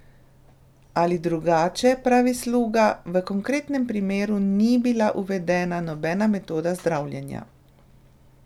Ali drugače, pravi Sluga: "V konkretnem primeru ni bila uvedena nobena metoda zdravljenja.